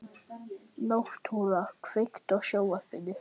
Náttúra, kveiktu á sjónvarpinu.